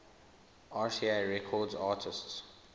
rca records artists